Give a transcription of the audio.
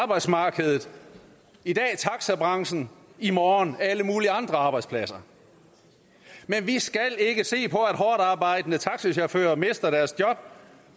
arbejdsmarkedet i dag taxabranchen i morgen alle mulige andre arbejdspladser men vi skal ikke se på at hårdtarbejdende taxachauffører mister deres job